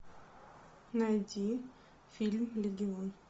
найди фильм легион